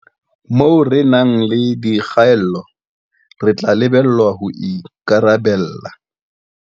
Moo re nang le dikgaello, re tla lebellwa ho ikarabella